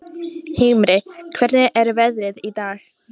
Himri, hvernig er veðrið í dag?